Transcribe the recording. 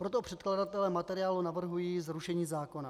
Proto předkladatelé materiálu navrhují zrušení zákona.